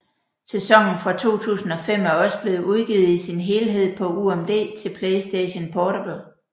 Sæsonen fra 2005 er også blevet udgivet i sin helhed på UMD til PlayStation Portable